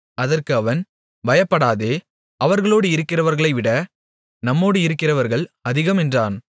அதற்கு அவன் பயப்படாதே அவர்களோடு இருக்கிறவர்களைவிட நம்மோடு இருக்கிறவர்கள் அதிகம் என்றான்